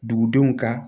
Dugudenw ka